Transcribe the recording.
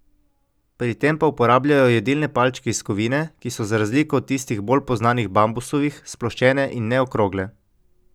Pri tem pa uporabljajo jedilne palčke iz kovine, ki so za razliko od tistih bolj poznanih bambusovih sploščene in ne okrogle.